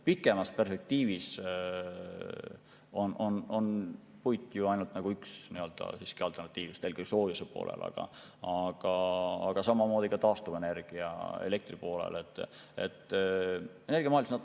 Pikemas perspektiivis on puit aga ainult üks alternatiividest nii soojuse tootmisel kui ka samamoodi taastuvenergiana elektrienergia tootmisel.